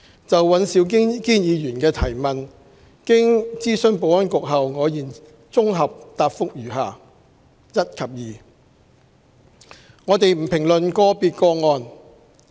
就胡志偉議員的提問，經諮詢保安局後，我現綜合答覆如下：一及二我們不評論個別個案。